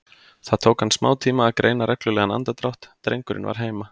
Það tók hann smátíma að greina reglulegan andardrátt, drengurinn var heima.